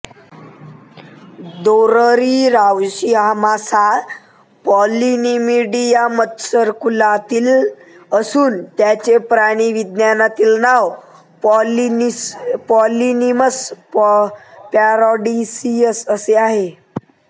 दोदरी रावशी हा मासा पॉलिनीमिडी या मत्स्यकुलातील असून त्याचे प्राणिविज्ञानातील नाव पॉलिनीमस पॅरॅडीसियस असे आहे